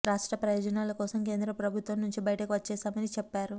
రాష్ట్ర ప్రయోజనాల కోసం కేంద్ర ప్రభుత్వం నుంచి బయటకు వచ్చేశామని చెప్పారు